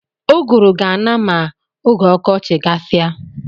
Ụgụrụ ga-ana ma oge ọkọchị gasia.